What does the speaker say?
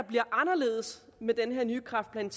bliver anderledes med den her nye kræftplan